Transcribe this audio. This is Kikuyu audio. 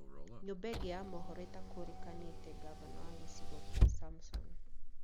Nyũmba ĩngĩ ya mohoro ĩtakũrĩkanĩte gafana wa gĩcigo kĩa samson